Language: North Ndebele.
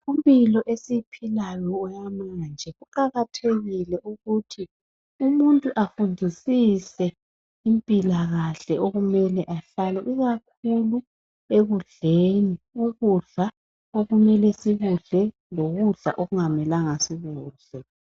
Impilo esiyiphilayo eyamanje, kuqakathekile ukuthi umuntu afundisise impilakahle okumele ahlale. Ikakhulu ekudleni. Ukudla okumele sikudle lokudla okungamelanga sikudle.